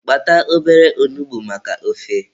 Kpata obere onugbu maka ofe.